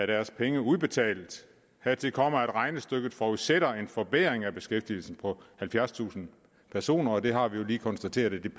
deres penge udbetalt dertil kommer at regnestykket forudsætter en forbedring af beskæftigelsen på halvfjerdstusind personer og det regnestykke har vi jo lige konstateret ikke